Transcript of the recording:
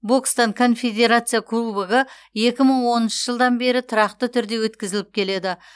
бокстан конфедерация кубогы екі мың оныншы жылдан бері тұрақты түрде өткізіліп келеді